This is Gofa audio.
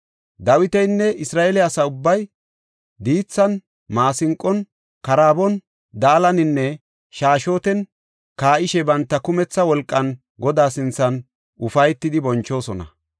Dawitinne Isra7eele asa ubbay diithan, maasinqon, karaabon daalaninne shaashshoten kaa7ishe banta kumetha wolqan Godaa sinthan ufaytidi bonchoosona.